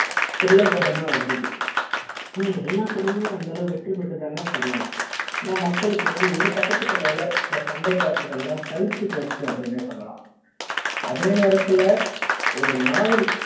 thriller படம் வந்தது ஆனா எல்லா பட மே அந்த அளவு வெற்றி பெற்றது கிடையாது ஆனா மக்களுக்கு வந்து ஒரு கட்ட த்துக்கு மேல சண்டை காட்சிகள் எல்லாம் சழிச்சு போச்சு அப்படின்ன சொல்லலாம் அதே நேரத்துல ஒரு நாவல்